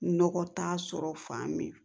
Nɔgɔ t'a sɔrɔ fan min